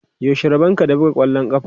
Yaushe rabonka da buga ƙwallon ƙafa?